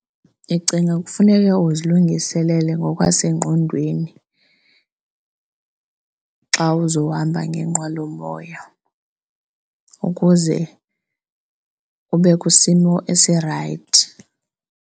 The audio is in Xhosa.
Ndicinga kufuneka uzilungiselele ngokwasengqondweni xa uzohamba ngenqwelomoya ukuze ube kwisimo esirayithi.